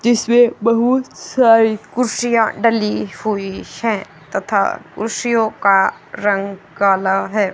जिसमें बहुत सारी कुर्सियां डली हुई हैं कुर्सियों का रंग काला है।